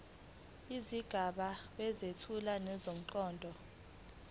izigaba ezethula ngomqondo